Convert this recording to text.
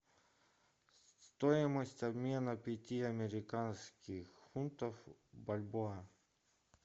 стоимость обмена пяти американских фунтов в бальбоа